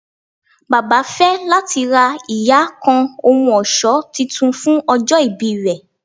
Baba fẹ lati ra iya kan ohun ọṣọ Titun fun ojo ibi rẹ